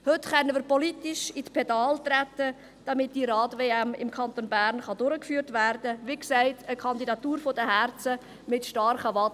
Heute können wir politisch in die Pedale treten, damit diese Radweltmeisterschaft im Kanton Bern durchgeführt werden kann – wie gesagt: eine Kandidatur der Herzen mit starken Waden.